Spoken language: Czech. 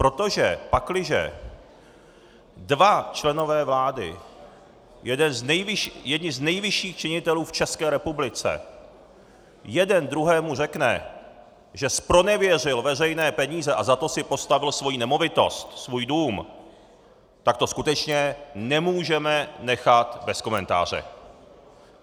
Protože pakliže dva členové vlády, jedni z nejvyšších činitelů v České republice, jeden druhému řekne, že zpronevěřil veřejné peníze a za to si postavil svoji nemovitost, svůj dům, tak to skutečně nemůžeme nechat bez komentáře.